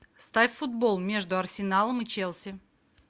ставь футбол между арсеналом и челси